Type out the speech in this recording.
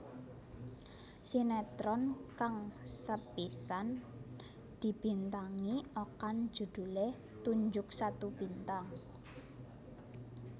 Sinetron kang sepisanan dibintangi Okan judhulé Tunjuk Satu Bintang